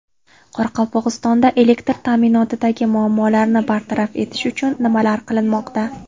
Qoraqalpog‘istonda elektr ta’minotidagi muammolarni bartaraf etish uchun nimalar qilinmoqda?